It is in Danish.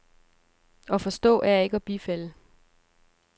At forstå er ikke at bifalde.